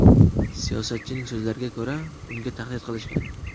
Siyosatchining so‘zlariga ko‘ra, unga tahdid qilishgan.